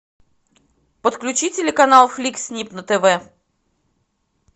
подключи телеканал флик снип на тв